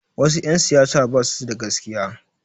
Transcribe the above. Wasu 'yan siyasa ba su da gaskiya.